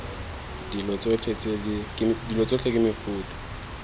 dilo tsotlhe tse ke mefuta